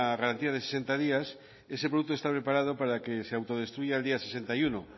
garantía de sesenta días ese producto está preparado para que se autodestruya el día sesenta y uno